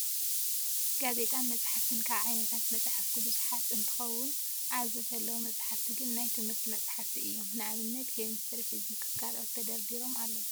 ጋዜጣን መፅሓፍትን፦ ካብ ዓይነታት መፅሓፍቲ ብዙሓት እነትከውኑ ኣብዚ ዘለው መፅሓፍቲ ግና ናይ ትምህርቲ መፅሓፍቲ እዮም። ንኣብነት፦ ኬሚስትሪ፣ ፊዚኽስ ካልኦት ተደርዲሮም ኣለው።